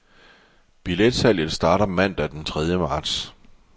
Billetsalget starter mandag den tredje marts.